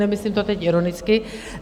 Nemyslím to teď ironicky.